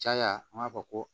Caya an b'a fɔ ko